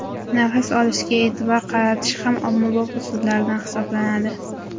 Nafas olishga e’tibor qaratish ham ommabop usullardan hisoblanadi.